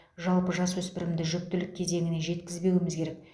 жалпы жасөспірімді жүктілік кезеңіне жеткізбеуіміз керек